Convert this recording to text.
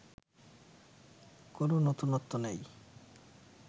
কোনো নতুনত্ব নেই